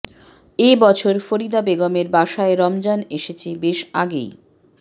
এ বছর ফরিদা বেগমের বাসায় রমজান এসেছে বেশ আগেই